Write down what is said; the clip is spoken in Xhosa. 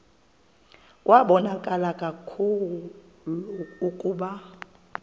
kwabonakala kaloku ukuba